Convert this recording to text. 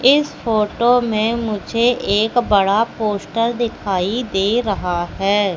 इस फोटो में मुझे एक बड़ा पोस्टर दिखाइ दे रहा है।